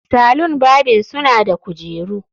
Salon barbing suna da kujeru